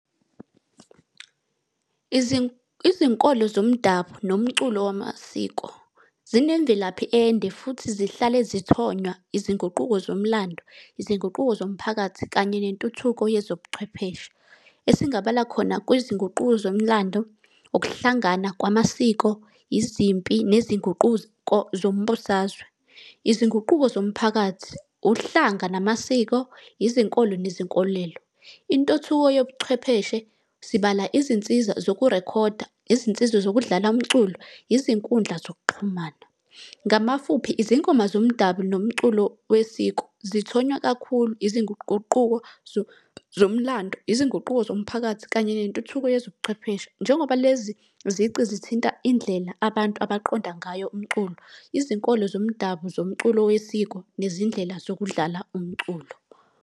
Izinkolo zomdabu nomculo wamasiko zinemvelaphi ende, futhi zihlale zithonywa izinguquko zomlando, izinguquko zomphakathi kanye nentuthuko yezobuchwepheshe. Esingabala khona kwezinguquko zomlando, ukuhlangana kwamasiko, izimpi nezinguquko zombusazwe. Izinguquko zomphakathi, uhlanga namasiko, izinkolo nezinkolelo. Intuthuko yobuchwepheshe sibala izinsiza zokurekhoda, izinsiza zokudlala umculo, izinkundla zokuxhumana. Ngamafuphi izingoma zomdabu nomculo wesiko zithonywa kakhulu izinguquko zomlando, izinguquko zomphakathi kanye nentuthuko yezobuchwepheshe. Njengoba lezi zici zithinta indlela abantu abaqonda ngayo umculo, izinkolo zomdabu zomculo wesiko nezindlela zokudlala umculo.